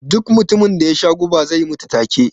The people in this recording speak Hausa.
Duk mutumin da yasha guba zai mutu ta ke